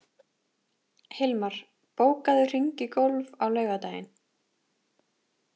Hilmar, bókaðu hring í golf á laugardaginn.